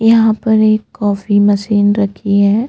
यहाँ पे एक कॉफी मशीन रखी है।